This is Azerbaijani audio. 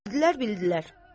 Bildilər, bildilər.